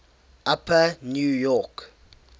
upper new york